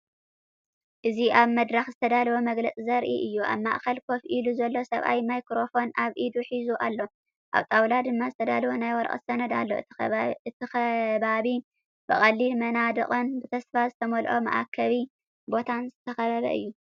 እዚ ኣብ መድረክ ዝተዳለወ መግለጺ ዘርኢ እዩ። ኣብ ማእከል ኮፍ ኢሉ ዘሎ ሰብኣይ ማይክሮፎን ኣብ ኢዱ ሒዙ ኣሎ፡ ኣብ ጣውላ ድማ ዝተዳለወ ናይ ወረቐት ሰነድ ኣሎ። እቲ ከባቢ ብቐሊል መናድቕን ብተስፋ ዝተመልአ መአከቢ ቦታን ዝተኸበበ እዩ።